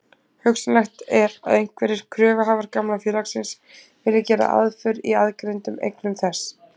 Hugsanlegt er að einhverjir kröfuhafar gamla félagsins vilji gera aðför í aðgreindum eignum þess.